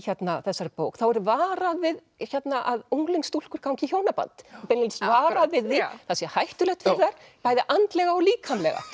þessari bók þá er varað við að unglingsstúlkur gangi í hjónaband beinlínis varað við því að það sé hættulegt fyrir þær bæði andlega og líkamlega